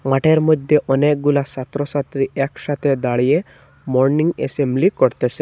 মাঠের মইধ্যে অনেকগুলো ছাত্রছাত্রী একসাথে দাঁড়িয়ে মর্নিং এসেম্বলি করতেসে।